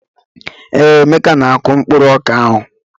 Ee, Emeka na-akụ mkpụrụ ọka ahụ.